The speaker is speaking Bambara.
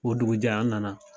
O dugujɛ an nana.